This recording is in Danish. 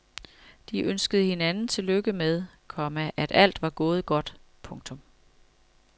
De ønskede hinanden tillykke med, komma at alt var gået godt. punktum